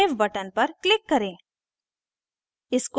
save button पर click करें